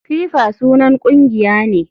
FIFA sunan kungiya ne.